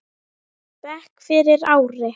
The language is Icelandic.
bekk fyrir ári.